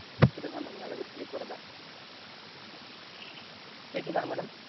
வருதா கேக்குதா madam